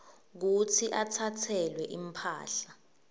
kutsi atsatselwe imphahla